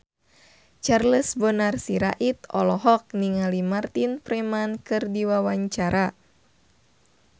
Charles Bonar Sirait olohok ningali Martin Freeman keur diwawancara